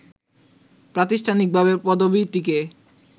প্রাতিষ্ঠানিকভাবে পদবীটিকে